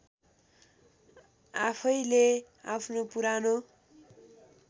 आफैले आफ्नो पुरानो